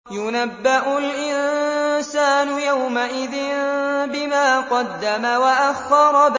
يُنَبَّأُ الْإِنسَانُ يَوْمَئِذٍ بِمَا قَدَّمَ وَأَخَّرَ